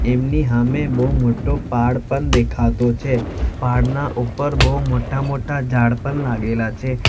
એમની હામે બહુ મોટો પહાડ પણ દેખાતો છે પહાડ નાઉપર બહુ મોટા મોટા ઝાડ પણ લાગેલા છે.